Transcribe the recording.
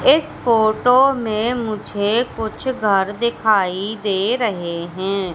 इस फोटो में मुझे कुछ घर दिखाई दे रहे हैं।